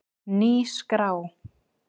Ný skrá